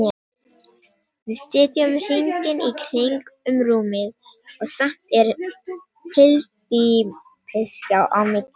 Við sitjum hringinn í kring um rúmið og samt er hyldýpisgjá á milli.